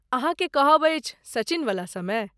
अहाँके कहब अछि सचिनवला समय ?